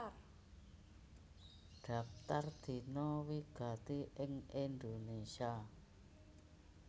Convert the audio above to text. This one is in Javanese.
Dhaptar Dina wigati ing Indonésia